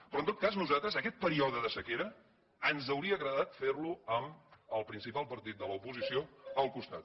però en tot cas nosaltres aquest període de sequera ens hauria agradat fer lo amb el principal partit de l’oposició al costat